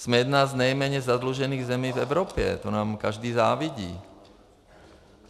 Jsme jedna z nejméně zadlužených zemí v Evropě, to nám každý závidí.